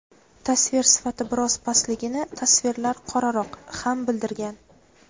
tasvir sifati biroz pastligini (tasvirlar qoraroq) ham bildirgan.